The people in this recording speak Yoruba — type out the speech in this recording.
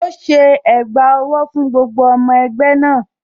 Ó ṣe ẹ̀gbà owó fún gbogbo ọmọ ẹgbẹ́ náà.